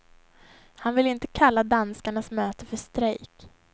Han vill inte kalla danskarnas möte för strejk.